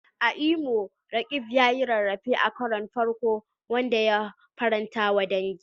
A Imo, Roqeeb ya yi rarrafe a karon farko, wanda ya faranta wa dangi.